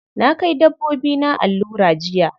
Na kai dabbobina allura jiya.